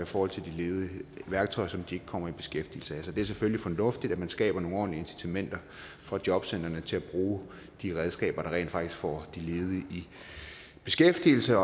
forhold til de ledige værktøjer som de ikke kommer i beskæftigelse af så det er selvfølgelig fornuftigt at man skaber nogle ordentlige incitamenter for jobcentrene til at bruge de redskaber der rent faktisk får de ledige i beskæftigelse